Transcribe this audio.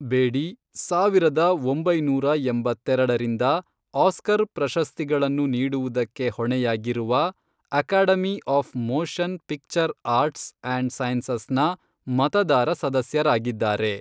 ಬೇಡಿ ಸಾವಿರದ ಒಂಬೈನೂರ ಎಂಬತ್ತೆರಡರಿಂದ, ಆಸ್ಕರ್ ಪ್ರಶಸ್ತಿಗಳನ್ನು ನೀಡುವುದಕ್ಕೆ ಹೊಣೆಯಾಗಿರುವ, Academy of Motion Picture Arts and ಸೈನ್ಸಸ್ನ ಮತದಾರ ಸದಸ್ಯರಾಗಿದ್ದಾರೆ.